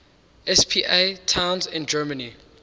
spa towns in germany